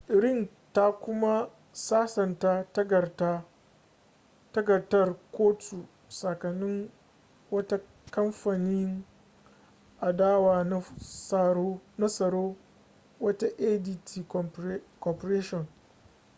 ring ta kuma sasanta takardar kotu tsakanin wata kamfanin adawa na tsaro wato adt corporation